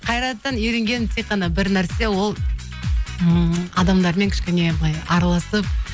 қайраттан үйренгенім тек қана бір нәрсе ол ммм адамдармен кішкене былай араласып